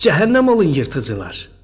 Cəhənnəm olun yırtıcılar!